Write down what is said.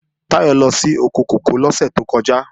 Táyọ̀ lọ sí oko kòkó lọ́sẹ̀ tó kọjá